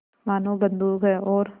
मानो बंदूक है और